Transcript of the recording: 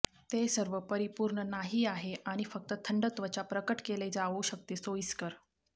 ते सर्व परिपूर्ण नाही आहे आणि फक्त थंड त्वचा प्रकट केले जाऊ शकते सोयीस्कर